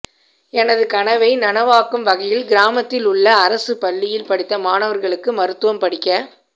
எனது கனவை நனவாக்கும் வகையில் கிராமத்தில் உள்ள அரசுப் பள்ளியில் படித்த மாணவா்களும் மருத்துவம் படிக்க